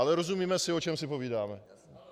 Ale rozumíme si, o čem si povídáme.